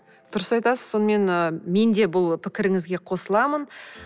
дұрыс айтасыз сонымен ы мен де бұл пікіріңізге қосыламын